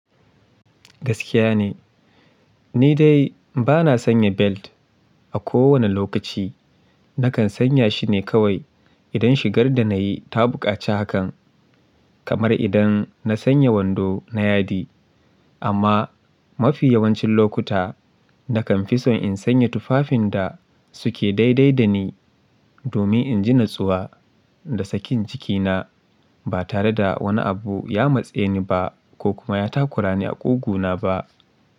Gaskiya ne, ni dai ba na sanya belt a kowane lokaci. Nakan sanya shi ne kawai idan shigar da na yi ta buƙaci hakan, kamar idan na sanya wando na yadi. Amma mafi yawancin lokuta nakan fi son in sanya tufafin da su ke daidai da ni domin in ji natsuwa da sakin jikina ba tare da wani abu ya matse ni ba ko kuma ya takura ni a ƙugu na ba.